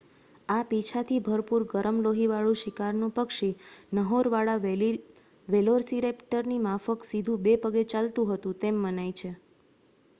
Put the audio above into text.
આ પીંછાથી ભરપૂર ગરમ લોહીવાળું શિકારનું પક્ષી નહોરવાળા વેલોસિરૅપ્ટરની માફક સીધું બે પગે ચાલતું હતું તેમ મનાય છે